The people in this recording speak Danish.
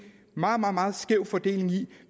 meget meget skæv fordeling i